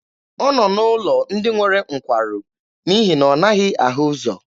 Ọ nọ n'ụlọ ndị nwere nkwarụ n'ihi na ọ naghị ahụ ụzọ.